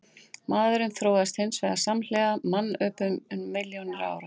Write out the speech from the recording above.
Maðurinn þróaðist hins vegar samhliða mannöpum um milljónir ára.